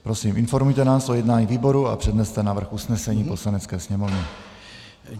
Prosím informujte nás o jednání výboru a předneste návrh usnesení Poslanecké sněmovny.